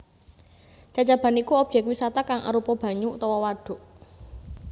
Cacaban iku obyek wisata kang arupa banyu utawa wadhuk